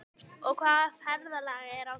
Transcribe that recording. Og hvaða ferðalag er á þér?